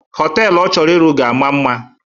Họtelu ọ chọrọ ịrụ ga-ama mma